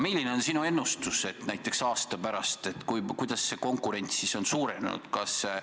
Milline on sinu ennustus, kui palju näiteks aasta pärast meil konkurents on suurenenud?